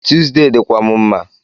Tuesday dịkwa m mma